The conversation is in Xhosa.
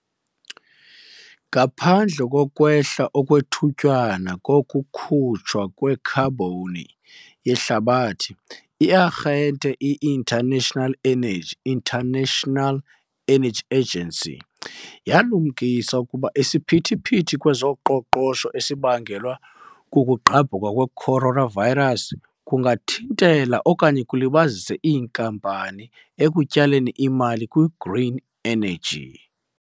Ngaphandle kokwehla okwethutyana kokukhutshwa kwekhabhoni yehlabathi, i-Arhente i-International Energy, International Energy Agency, yalumkisa ukuba isiphithiphithi kwezoqoqosho esibangelwa kukugqabhuka kwe-coronavirus kungathintela okanye kulibazise iinkampani ekutyaleni imali kwi-green energy.